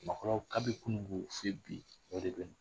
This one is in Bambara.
Maakɔrɔw ka bi kunungo fe bi o de be yen.